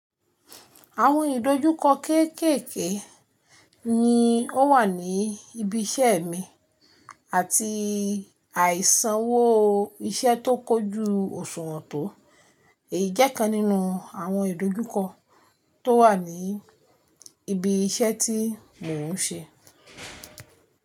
Àwọn ìdojúkọ kéèkéèké ni ó wà ní ibi iṣẹ́ mi àti àìsànwó iṣẹ́ tó kójú òṣùwọ̀n tó. Eyi jẹ́ kan nínú àwọn ìdojúkọ tó wà ní ibi iṣẹ́ tí mò ń ṣe.